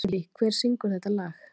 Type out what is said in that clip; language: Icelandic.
Sirrý, hver syngur þetta lag?